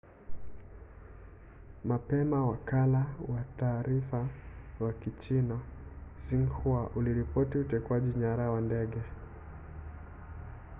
mapema wakala wa taarifa wa kichina xinhua uliripoti utekwaji nyara wa ndege